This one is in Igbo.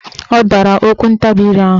Ọ dara okwuntabire ahụ.